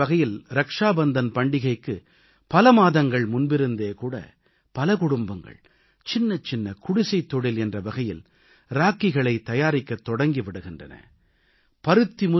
பொருளாதார நிலை என்ற வகையில் ரக்ஷா பந்தன் பண்டிகைக்கு பல மாதங்கள் முன்பிலிருந்தே கூட பல குடும்பங்கள் சின்னச் சின்ன குடிசைத் தொழில் என்ற வகையில் ராக்கிகளை தயாரிக்கத் தொடங்கி விடுகின்றன